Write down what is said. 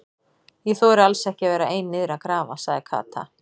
Ég þori alls ekki að vera ein niðri að grafa sagði Kata.